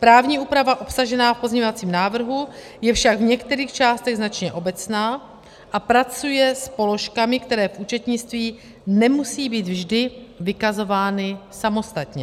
Právní úprava obsažená v pozměňovacím návrhu je však v některých částech značně obecná a pracuje s položkami, které v účetnictví nemusí být vždy vykazovány samostatně.